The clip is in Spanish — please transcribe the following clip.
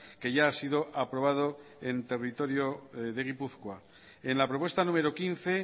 que ya ha sido aprobado en territorio de gipuzkoa en la propuesta número quince